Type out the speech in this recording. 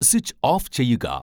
switch off ചെയ്യുക